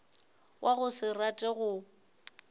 wa go se rate go